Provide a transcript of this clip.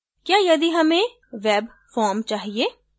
क्या यदि हमें webform चाहिए